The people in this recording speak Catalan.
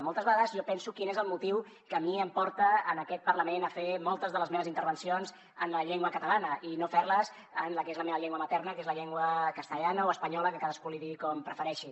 moltes vegades jo penso quin és el motiu que a mi em porta en aquest parlament a fer moltes de les meves intervencions en la llengua catalana i no ferles en la que és la meva llengua materna que és la llengua castellana o espanyola que cadascú li digui com prefereixi